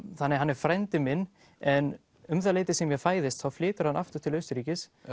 þannig að hann er frændi minn en um það leyti sem ég fæðist þá flytur hann aftur til Austurríkis